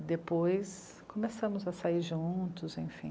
E depois começamos a sair juntos, enfim.